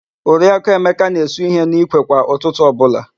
Oriaku Emeka na-esu ihe n'ikwe kwa ụtụtụ ọbụla.